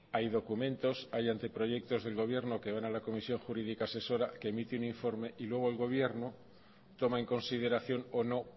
hay documentos hay anteproyectos del gobierno que van a la comisión jurídica asesora que emite un informe y luego el gobierno toma en consideración o no